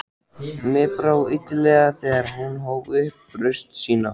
Mér brá illilega þegar hún hóf upp raust sína